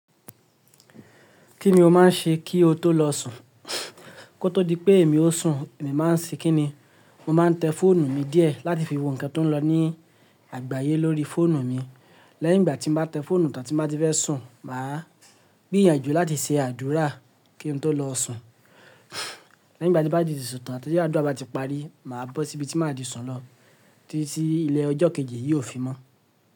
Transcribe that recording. Kí ni o maá n ṣe kí o tó lọ sùn, kó tó di pé èmi o sùn, èmi maa n ṣi kí ni, mo ma n tẹ fọ́ọ̀nù mi díẹ̀ láti fi wo ǹnkan tó ń lọ ní àgbáyé lórí fọ́ọ̀nù mi. Lẹ́yìn ngbà tí mo bá tẹ fọ́ọ̀nù tán tí mo bá ti fẹ́ sùn, mà á gbìyànjú láti ṣe àdúrà kí n tó lọ sùn. Lẹ́yìn ngbà tí n bá tì sùn tán tí àdúrà bá ti parí, mà á bọ́ síbi tí mà á ti sùn lọ títí ilẹ̀ ọjọ́ kejì yiò fi mọ́.